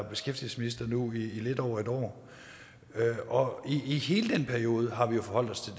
beskæftigelsesminister nu i lidt over et år og i hele den periode har vi jo forholdt os